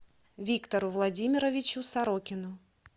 виктору владимировичу сорокину